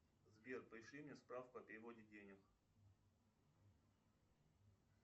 сбер пришли мне справку о переводе денег